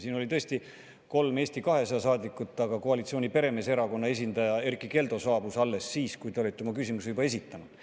Siin oli tõesti kolm Eesti 200 saadikut, aga koalitsiooni peremeeserakonna esindaja Erkki Keldo saabus alles siis, kui te olite oma küsimuse juba esitanud.